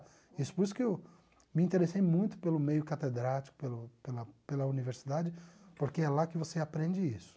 Isso por isso que eu me interessei muito pelo meio catedrático, pelo pela pela universidade, porque é lá que você aprende isso.